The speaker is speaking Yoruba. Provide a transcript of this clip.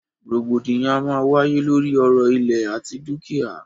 Rògbòdìyàn a máa wáyé lóri ọ̀rọ̀ ìlẹ̀ àti dúkìá.